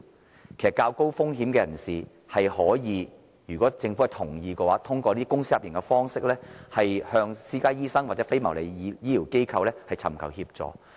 其實，對於較高風險的人士，如果政府同意的話，他們可以通過公私營協作的方式，向私家醫生或非牟利醫療機構尋求協助。